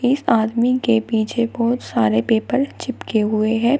इस आदमी के पीछे बहुत सारे पेपर चिपके हुए हैं।